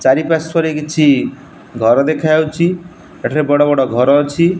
ଚାରିପାର୍ଶ୍ଵରେ କିଛି ଘର ଦେଖାଯାଉଛି ଏଠାରେ ବଡ଼ ବଡ଼ ଘର ଅଛି।